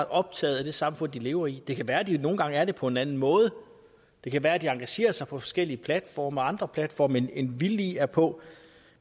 optaget af det samfund de lever i det kan være de nogle gange er det på en anden måde det kan være de engagerer sig på forskellige platforme og andre platforme end vi lige er på